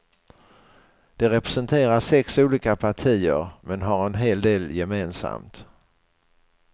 De representerar sex olika partier, men har en hel del gemensamt.